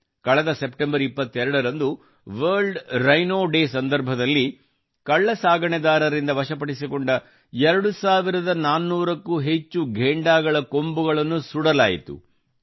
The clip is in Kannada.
ಕಳೆದ ಸೆಪ್ಟೆಂಬರ್ 22 ರಂದು ವರ್ಲ್ಡ್ ರೈನೋ ಡೇ ಸಂದರ್ಭದಲ್ಲಿ ಕಳ್ಳ ಸಾಗಣೆದಾರರಿಂದ ವಶಪಡಿಸಿಕೊಂಡ 2400 ಕ್ಕೂ ಹೆಚ್ಚು ಘೇಂಡಾಗಳ ಕೊಂಬುಗಳನ್ನು ಸುಡಲಾಯಿತು